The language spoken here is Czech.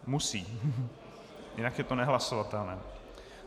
Musí, jinak je to nehlasovatelné.